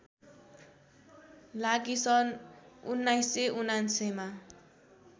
लागि सन् १९९९ मा